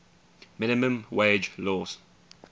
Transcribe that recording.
minimum wage laws